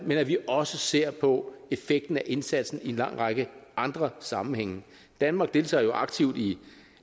men at vi også ser på effekten af indsatsen i en lang række andre sammenhænge danmark deltager jo aktivt i